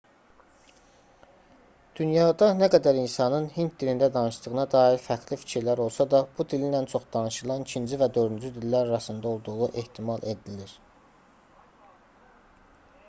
dünyada nə qədər insanın hind dilində danışdığına dair fərqli fikirlər olsa da bu dilin ən çox danışılan 2-ci və 4-cü dillər arasında olduğu ehtimal edilir